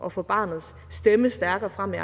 at få barnets stemme stærkere frem i